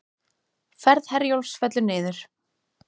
Ferð Herjólfs fellur niður